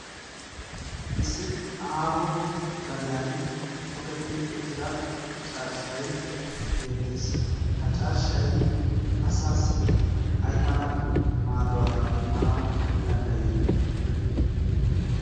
issi aaho gadiyan toketti uttida carshshay beettees. ha carshshay asaassi ai mala maaduwaa immanau danddayii?